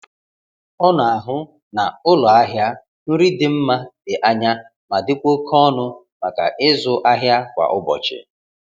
Ọ na-ahụ na ụlọ ahịa nri dị mma dị anya ma dịkwa oke ọnụ maka ịzụ ahịa kwa ụbọchị.